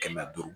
Kɛmɛ duuru